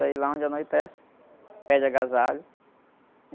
Aí, lá onde anoitece, pede agasalho.